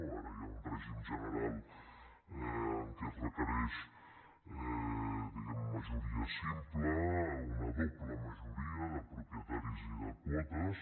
ara hi ha un règim general amb què es requereix majoria simple una doble majoria de propietaris i de quotes